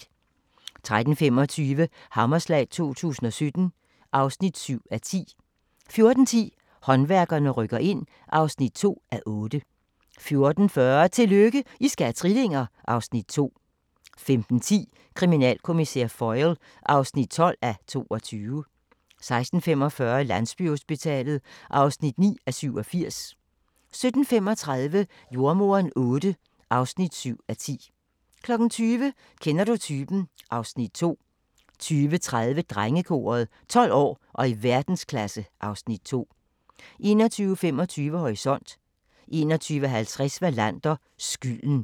13:25: Hammerslag 2017 (7:10) 14:10: Håndværkerne rykker ind (2:8) 14:40: Tillykke, I skal have trillinger! (Afs. 2) 15:10: Kriminalkommissær Foyle (12:22) 16:45: Landsbyhospitalet (9:87) 17:35: Jordemoderen VIII (7:10) 20:00: Kender du typen? (Afs. 2) 20:30: Drengekoret – 12 år og i verdensklasse (Afs. 2) 21:25: Horisont 21:50: Wallander: Skylden